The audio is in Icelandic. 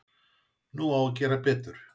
Nú á að gera betur